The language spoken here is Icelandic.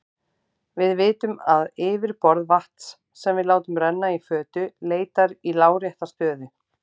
Við vitum að yfirborð vatns sem við látum renna í fötu leitar í lárétta stöðu.